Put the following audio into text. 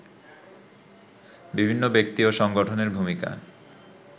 বিভিন্ন ব্যক্তি ও সংগঠনের ভূমিকা